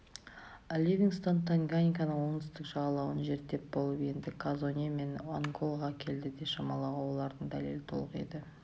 ливингстон танганьиканың оңтүстік жағалауын зерттеп болып енді казонде мен анголаға келеді деп шамалауға олардың дәлелі толық еді